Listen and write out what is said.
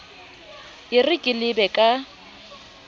e re ke lebe ka